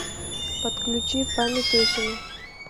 подключи память осени